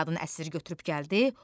Qadın əsir götürüb gəldi,